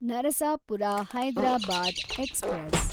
Narasapura Hyderabad express